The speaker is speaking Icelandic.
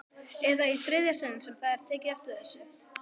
Eða í þriðja sinn sem það er tekið eftir þessu?